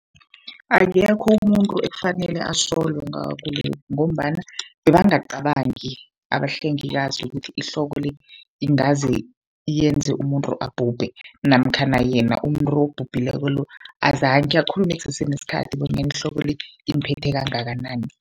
Akekho umuntu ekufanele asolwe ngakho lokhu, ngombana bebangacabangi abahlengikazi ukuthi ihloko le ingaze yenze umuntu abhubhe. Namkhana yena umuntu obhubhileko lo, azange akhulume kusese nesikhathi bonyana ihloko le imphethe kangakanani.